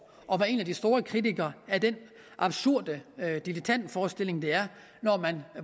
og være en af de store kritikere af den absurde dilettantforestilling det er når man